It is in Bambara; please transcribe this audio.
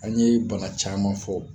An ye bana caman fɔ